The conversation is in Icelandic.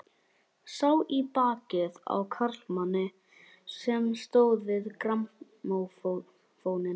Sá í bakið á karlmanni sem stóð við grammófóninn.